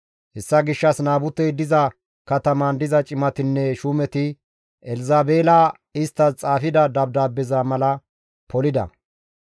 Hessa gishshas Naabutey diza katamaan diza cimatinne shuumeti Elzabeela isttas xaafida dabdaabbeza mala polida.